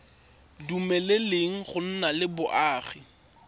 dumeleleng go nna le boagi